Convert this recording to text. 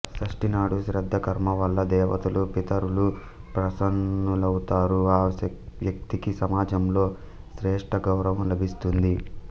షష్ఠి నాడు శ్రాద్ధ కర్మ వల్ల దేవతలు పితరులు ప్రసన్నులవుతారు ఆ వ్యక్తికి సమాజంలో శ్రేష్ఠ గౌరవం లభిస్తుంది